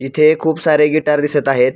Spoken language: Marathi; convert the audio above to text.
इथे खूप सारे गिटार दिसत आहेत.